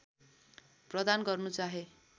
प्रदान गर्नु चाहे